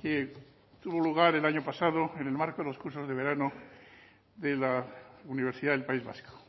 que tuvo lugar el año pasado en el marco de los cursos de verano de la universidad del país vasco